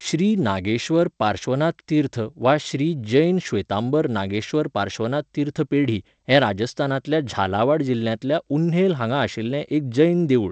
श्री नागेश्वर पार्श्वनाथ तीर्थ वा श्री जैन श्वेतांबर नागेश्वर पार्श्वनाथ तीर्थ पेढी हें राजस्थानांतल्या झालावाड जिल्ह्यांतल्या उन्हेल हांगा आशिल्लें एक जैन देवूळ.